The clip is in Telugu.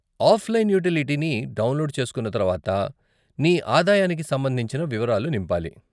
ఆఫ్లైన్ యూటిలిటీ ని డౌన్లోడ్ చేస్కున్న తర్వాత, నీ ఆదాయానికి సంబంధించిన వివరాలు నింపాలి.